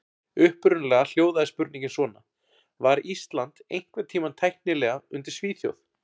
Upprunalega hljóðaði spurningin svona: Var Ísland einhvern tímann tæknilega undir Svíþjóð?